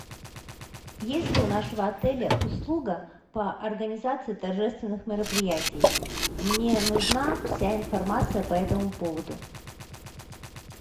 есть ли у нашего отеля услуга по организации торжественных мероприятий мне нужна вся информация по этому поводу